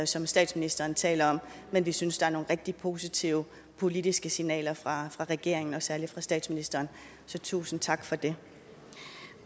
som statsministeren taler om men vi synes at der er nogle rigtig positive politiske signaler fra regeringen og særlig fra statsministeren så tusind tak for det